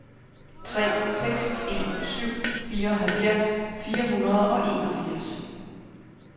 tre seks en syv fireoghalvfjerds fire hundrede og enogfirs